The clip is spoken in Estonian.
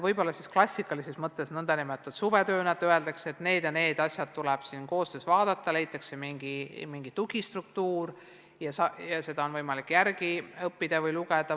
Võib-olla saaks teha klassikalises mõttes suvetööd, et öeldakse, et need ja need asjad tuleb koos läbi vaadata, leitakse mingi tugistruktuur ja puudujääke on võimalik järele õppida või midagi juurde lugeda.